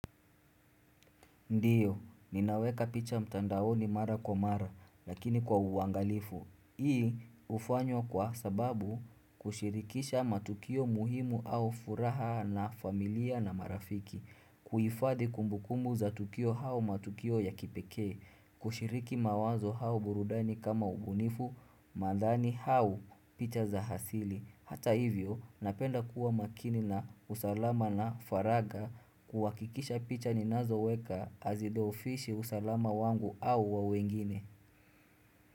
Ndiyo, ninaweka picha mtandaoni mara kwa mara, lakini kwa uangalifu. Hii hufanywa kwa sababu kushirikisha matukio muhimu au furaha na familia na marafiki. Kuhifadi kumbukumu za tukio au matukio ya kipekee. Kushiriki mawazo au burudani kama ubunifu, madhali au picha za asili. Hata hivyo, napenda kuwa makini na usalama na faragha kuhakikisha picha ninazoweka hazidhoofishi usalama wangu au wa wengine.